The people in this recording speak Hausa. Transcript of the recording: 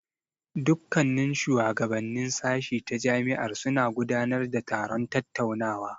Dukkannin shuwagabannin sashi ta jami'ar suna gudanar da taron tattaunawa.